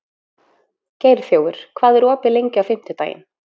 Geirþjófur, hvað er opið lengi á fimmtudaginn?